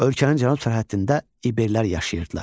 Ölkənin cənub sərhəddində İberlər yaşayırdılar.